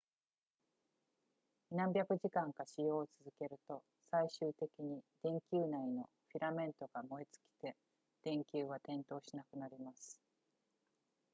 何百時間か使用を続けると最終的に電球内のフィラメントが燃え尽きて電球は点灯しなくなります